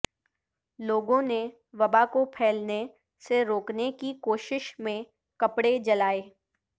لوگوں نے وبا کو پھیلنے سےروکنے کی کوشش میں کپڑے جلائے